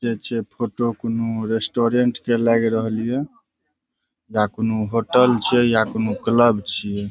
ये छे फोटो कोनो रेस्टोरेंट के लाग रहल हिये या कोनो होटल छिए या कोन्हो क्लब छिये।